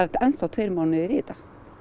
enn þá tveir mánuðir í þetta